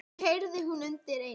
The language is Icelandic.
Það heyrði hún undir eins.